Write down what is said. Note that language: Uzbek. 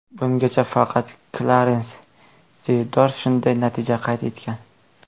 Bungacha faqat Klarens Zeyedorf shunday natija qayd etgan.